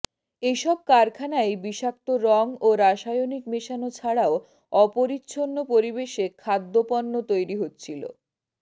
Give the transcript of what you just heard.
এসব কারখানায় বিষাক্ত রং ও রাসায়নিক মেশানো ছাড়াও অপরিচ্ছন্ন পরিবেশে খাদ্যপণ্য তৈরি হচ্ছিলো